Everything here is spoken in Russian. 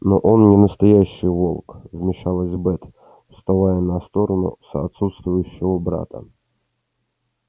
но он не настоящий волк вмешалась бэт вставая на сторону с отсутствующего брата